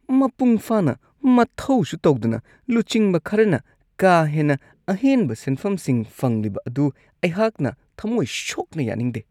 ꯃꯄꯨꯡ ꯐꯥꯅ ꯃꯊꯧꯁꯨ ꯇꯧꯗꯅ ꯂꯨꯆꯤꯡꯕ ꯈꯔꯅ ꯀꯥ ꯍꯦꯟꯅ ꯑꯍꯦꯟꯕ ꯁꯦꯟꯐꯝꯁꯤꯡ ꯐꯪꯂꯤꯕ ꯑꯗꯨ ꯑꯩꯍꯥꯛꯅ ꯊꯃꯣꯏ ꯁꯣꯛꯅ ꯌꯥꯅꯤꯡꯗꯦ ꯫